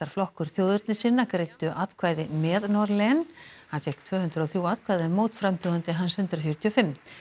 flokkur þjóðernissinna greiddu atkvæði með Norlén hann fékk tvö hundruð og þrjú atkvæði en hans hundrað fjörutíu og fimm